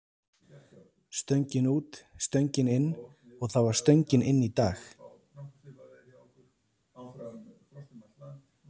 Stöngin út, stöngin inn og það var stöngin inn í dag.